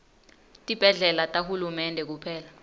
tibhedlela tahulumende kuphela